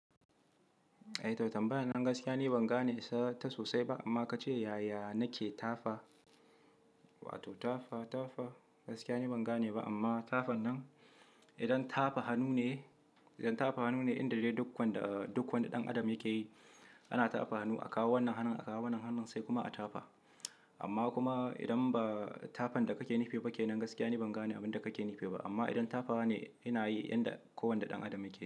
Eh to tambaya nan gaskiya ni ban gane ta sosai ba amma ka ce yaya nake tafa? Wato tafa, tafa gaskiya ni ban gane ba amma tafa nan idan tafa hannu ne, idan tafa hannu ne inda dai duk wanda, duk wanda ɗan adam yake yi ana tafa hannu a kawo wannan hannun, a kawo wannan hannun sai kuma a tafa. Amma kuma idan ba tafa da kake nufe ba ke nan gaskiya ni ban gane abin da kake nufe ba. Amma idan tafawa ne ina yi yanda kowane ɗan adam yake yi.